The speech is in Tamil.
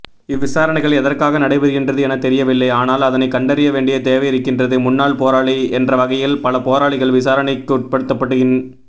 இந்தவிசாரணைகள் எதற்காக நடைபெறுகின்றது என தெரியவில்லை ஆனால் அதனை கண்டறியவேண்டிய தேவையிருக்கின்றது முன்னாள் போராளி என்றவகையில் பல போராளிகள் விசாரணைக்குட்படுத்தப்படுகின்